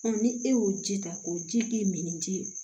ni e y'o ji ta o ji min di